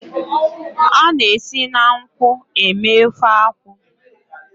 A na-esi na nkwụ eme ofe akwụ.